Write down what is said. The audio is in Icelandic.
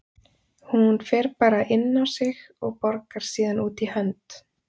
Hún fer bara inn á sig og borgar síðan út í hönd.